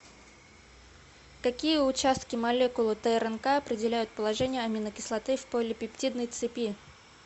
какие участки молекулы трнк определяют положение аминокислоты в полипептидной цепи